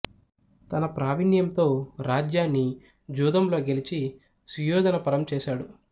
తన ప్రావీణ్యంతో రాజ్యాన్ని జూదంలో గెలిచి సుయోధన పరం చేసాడు